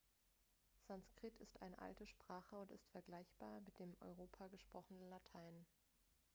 sanskrit ist eine alte sprache und ist vergleichbar mit dem in europa gesprochenen latein